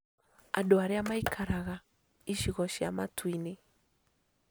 Andũ arĩa maikaraga icigo cia mataũni-inĩ